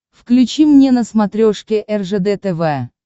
включи мне на смотрешке ржд тв